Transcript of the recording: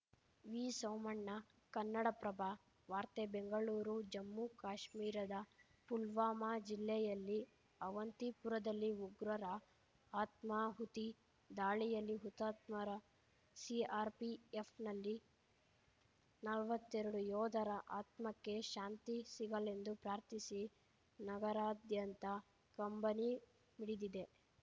ವಿಸೋಮಣ್ಣ ಕನ್ನಡಪ್ರಭ ವಾರ್ತೆ ಬೆಂಗಳೂರು ಜಮ್ಮು ಕಾಶ್ಮೀರದ ಪುಲ್ವಾಮಾ ಜಿಲ್ಲೆಯಲ್ಲಿ ಆವಂತಿಪುರದಲ್ಲಿ ಉಗ್ರರ ಆತ್ಮಾಹುತಿ ದಾಳಿಯಲ್ಲಿ ಹುತಾತ್ಮರ ಸಿಆರ್‌ಪಿಎಫ್‌ನಲ್ಲಿ ನಲ್ವತ್ತೆರಡು ಯೋಧರ ಆತ್ಮಕ್ಕೆ ಶಾಂತಿ ಸಿಗಲೆಂದು ಪ್ರಾರ್ಥಿಸಿ ನಗರಾದ್ಯಂತ ಕಂಬನಿ ಮಿಡಿದಿದೆ